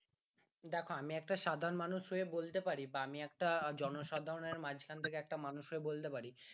দেখো আমি একটা সাধারণ মানুষ হয়ে বলতে পারি বা আমি একটা জনসাধারণের মাঝখান থেকে একটা মানুষ হয়ে বলতে পারি